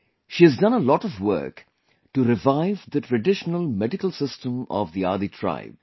She has done a lot of work to revive the traditional medical system of the Adi tribe